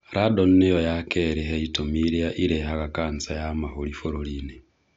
Radon niyo ya kerĩ he itũmi iria irehaga cancer ya mahũri bũrũriinĩ